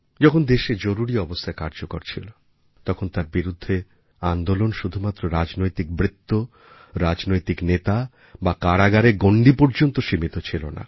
যখন দেশে জরুরি অবস্থা কার্যকর হয়েছিল তখন তার বিরুদ্ধে আন্দোলন শুধুমাত্র রাজনৈতিক বৃত্ত রাজনৈতিক নেতাবা কারাগারের গণ্ডি পর্যন্ত সীমিত ছিল না